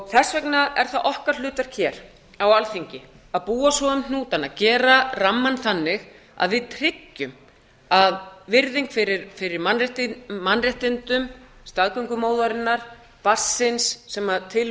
þess vegna er það okkar hlutverk hér á alþingi að búa svo um hnútana gera rammann þannig að við tryggjum að virðing fyrir mannréttindum staðgöngumóðurinnar barnsins sem til